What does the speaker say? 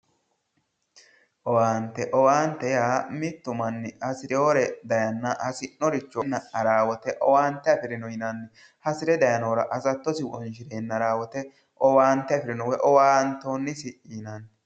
Owaante, owaante yaa, mittu manni hasirinore daayenna hasi'noricho afire haranno woyte owaante afirino yinnanni, hasire daayinohura hasattosi wonshi'neenna haranno woyte owaante afirino woyi owaantonnisi yinnanni.